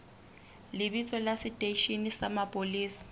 lebitso la seteishene sa mapolesa